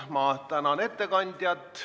Ma tänan ettekandjat.